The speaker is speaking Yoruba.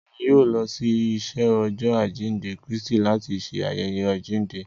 Èmí yóò lọ si iṣẹ Ọjọ ajinde Kristi láti ṣe ayẹyẹ ajinde